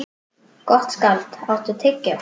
Gottskálk, áttu tyggjó?